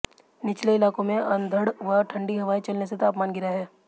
निचले इलाकों में अंधड़ व ठंडी हवाएं चलने से तापमान गिरा है